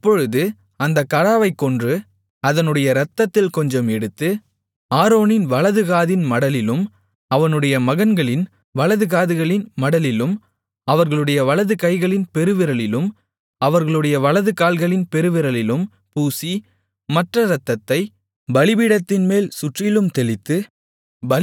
அப்பொழுது அந்தக் கடாவைக் கொன்று அதனுடைய இரத்தத்தில் கொஞ்சம் எடுத்து ஆரோனின் வலது காதின் மடலிலும் அவனுடைய மகன்களின் வலது காதுகளின் மடலிலும் அவர்களுடைய வலது கைகளின் பெருவிரலிலும் அவர்களுடைய வலது கால்களின் பெருவிரலிலும் பூசி மற்ற இரத்தத்தைப் பலிபீடத்தின்மேல் சுற்றிலும் தெளித்து